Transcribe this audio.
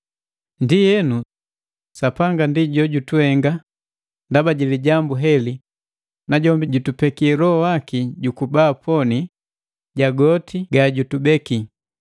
Ndienu Sapanga ndi jojutuhenga ndaba ji lijambu heli najombi jutupeki Loho Waki jukuba poni, ja goti gajutubeki.